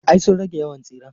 Ay sun rage yawan tsiren.